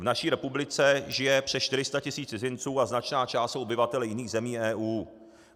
V naší republice žije přes 400 tisíc cizinců a značná část jsou obyvatelé jiných zemí EU.